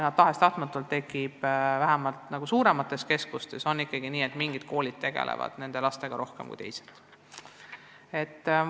Tahes-tahtmata on vähemalt suuremates keskustes ikkagi nii, et mingid koolid tegelevad nende lastega rohkem kui teised.